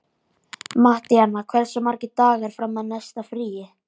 Mattíana, hversu margir dagar fram að næsta fríi?